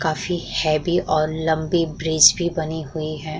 काफी हैवी और लम्बी ब्रिज भी बनी हुई है।